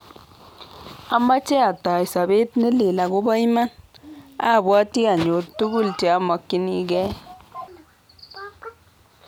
"Amache atoi sobet ne leel akobo iman, abwati anyor tugul che amakyinigei ."